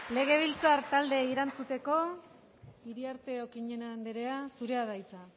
legebiltzar taldeei erantzuteko iriarte okiñena andrea zurea da hitza